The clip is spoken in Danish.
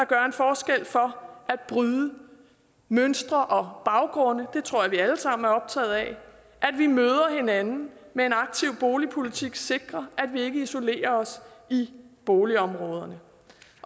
gør en forskel for at bryde mønstre og baggrunde det tror jeg vi alle sammen er optaget af at vi møder hinanden at med en aktiv boligpolitik sikrer at vi ikke isolerer os i boligområderne